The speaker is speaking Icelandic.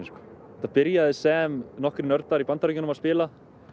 þetta byrjaði sem nokkrir nördar í Bandaríkjunum að spila